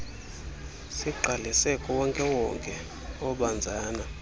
sigqalise kuwonkewonke obanzana